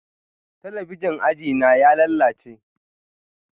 Talabijin a ajina ya lalace